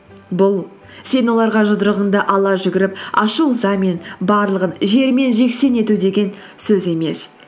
бұл сен оларға жұдырығыңды ала жүгіріп ашу ызамен барлығын жермен жексен ету деген сөз емес